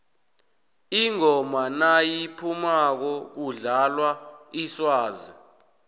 ingoma nayiphumako kudlalwa iswazi